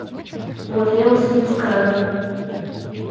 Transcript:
вот я вас отпускаю